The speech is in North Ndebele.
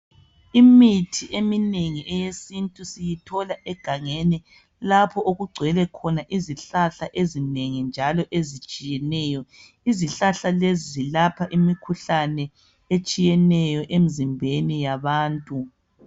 Imithi eminengi eyesintu siyithola egangeni lapho okugcwele khona izihlahla ezinengi njalo ezitshiyeneyo izihlahla lezi zilapha imikhuhlane etshiyeneyo emzimbeni yabantu.